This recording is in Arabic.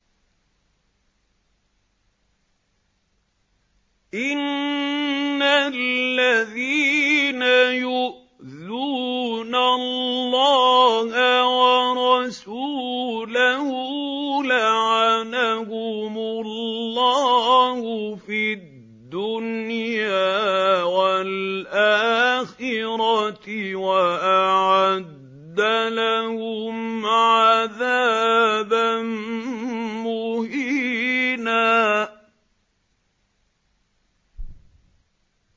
إِنَّ الَّذِينَ يُؤْذُونَ اللَّهَ وَرَسُولَهُ لَعَنَهُمُ اللَّهُ فِي الدُّنْيَا وَالْآخِرَةِ وَأَعَدَّ لَهُمْ عَذَابًا مُّهِينًا